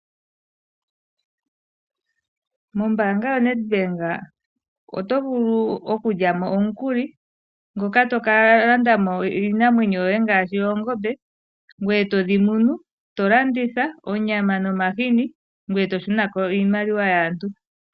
Mombaanga yaNedbank oto vulu okulyamo omukulu moka tokalandamo iinamwenyo yoye ngaashi oongombe, ngoye todhimunu tolanditha onyama nomahini ngoye toshunako iimaliwa yaantu.